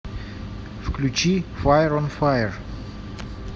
включи фаер он фаер